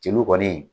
Jeliw kɔni